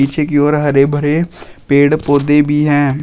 पीछे की ओर हरे भरे पेड़ पौधे भी हैं।